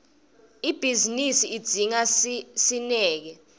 ibhizinisi idzinga sineke